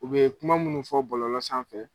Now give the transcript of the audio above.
U be kuma munnu fɔ bɔlɔlɔ sanfɛ